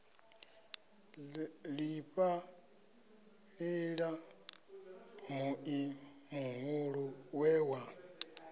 ḓifhaṱela muḓi muhulu we wa